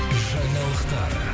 жаңалықтар